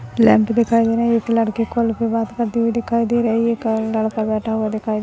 lab दिखाई दे रहा है एक लड़की कॉल पे बात करती हुई दिखाई दे रही है एक लडका बैठा हुआ दिखाई--